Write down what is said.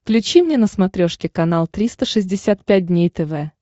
включи мне на смотрешке канал триста шестьдесят пять дней тв